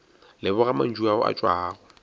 leboga mantšu ao a tšwago